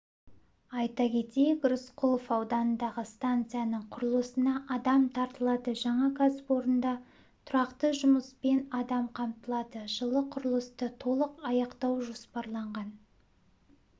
айта кетейік рысқұлов ауданындағы станцияның құрылысына адам тартылады жаңа кәсіпорында тұрақты жұмыспен адам қамтылады жылы құрылысты толық аяқтау жоспарланған